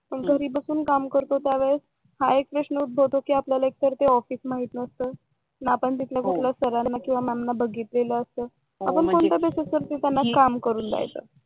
घरी बसून काम करतो त्यावेळेस हा एक प्रश्न उद्भवतो एक तर ते ऑफिस आपल्याला माहित नसत, ना आपण त्यातल्या कोणत्या सरांना किंवा मॅम ला बघितलेलं असत. आपण कोणत्या बेसिसवर त्यांना की करून द्यायचं